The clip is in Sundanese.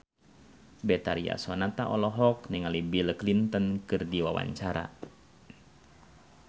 Betharia Sonata olohok ningali Bill Clinton keur diwawancara